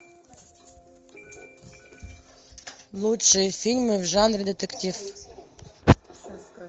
лучшие фильмы в жанре детектив